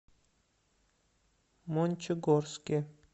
мончегорске